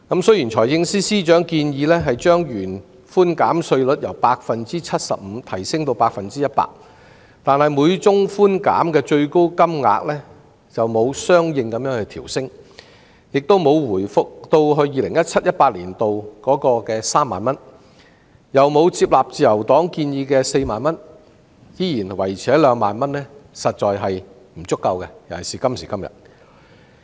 雖然財政司司長建議把稅務寬免百分比由 75% 提升至 100%， 但每宗寬免的最高金額沒有相應調升，既沒有回復至 2017-2018 年度的3萬元，亦沒有接納自由黨建議的4萬元而仍然維持在2萬元，在今時今日實在是不足夠的。